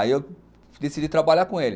Aí eu decidi trabalhar com ele.